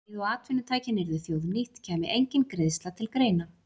Um leið og atvinnutækin yrðu þjóðnýtt kæmi engin greiðsla til greina.